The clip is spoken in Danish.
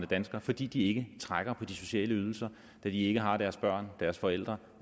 danskerne fordi de ikke trækker på de sociale ydelser da de ikke har deres børn deres forældre